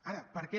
ara per què